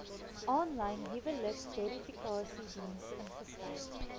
aanlyn huwelikverifikasiediens ingestel